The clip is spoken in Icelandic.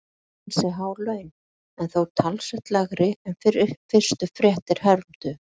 Það eru ansi há laun en þó talsvert lægri en fyrstu fréttir hermdu.